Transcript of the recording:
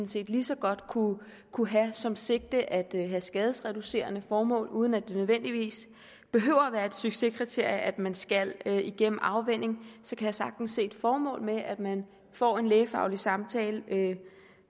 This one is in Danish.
set lige så godt kunne have som sigte at have skadesreducerende formål uden at det nødvendigvis behøver at være et succeskriterie at man skal igennem afvænning så kan jeg sagtens se et formål med at man får en lægefaglig samtale